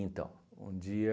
um dia...